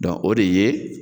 Dɔnku o de ye